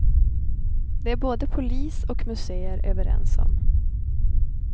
Det är både polis och museer överens om.